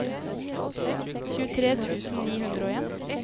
tjuetre tusen ni hundre og en